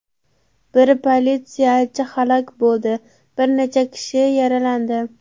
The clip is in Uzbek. Bir politsiyachi halok bo‘ldi, bir necha kishi yaralandi.